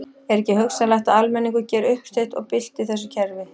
Er ekki hugsanlegt að almenningur geri uppsteyt og bylti þessu kerfi?